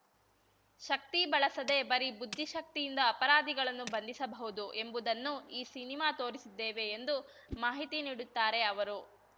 ಶಕ್ತಿ ಬಳಸದೆ ಬರೀ ಬುದ್ಧಿಶಕ್ತಿಯಿಂದ ಅಪರಾಧಿಗಳನ್ನು ಬಂಧಿಸಬಹುದು ಎಂಬುದನ್ನು ಈ ಸಿನಿಮಾ ತೋರಿಸಿದ್ದೇವೆ ಎಂದು ಮಾಹಿತಿ ನೀಡುತ್ತಾರೆ ಅವರು